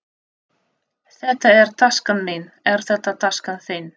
Þetta er taskan mín. Er þetta taskan þín?